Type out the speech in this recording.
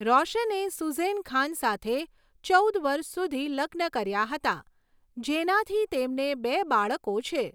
રોશને સુઝેન ખાન સાથે ચૌદ વર્ષ સુધી લગ્ન કર્યા હતા, જેનાથી તેમને બે બાળકો છે.